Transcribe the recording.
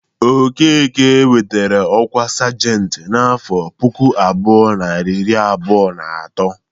Okeke nwetara ọkwa sajentị n'afọ puku abụọ, narị iri abụọ na atọ.